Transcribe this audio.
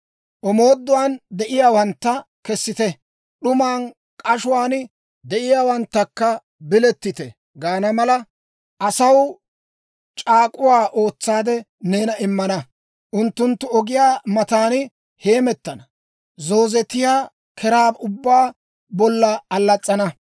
Omooduwaan de'iyaawantta, ‹Kesite!› d'umaa k'ashuwaan de'iyaawanttakka, ‹Bilettite!› gaana mala, asaw c'aak'uwaa ootsaade neena immana. Unttunttu ogiyaa matan heemettana; zoozetiyaa keraa ubbaa bolla allas's'ana.